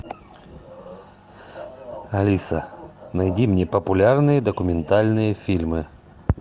алиса найди мне популярные документальные фильмы